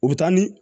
U bɛ taa ni